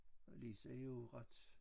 Og Lise er jo ret